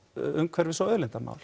umhverfis og auðlindamál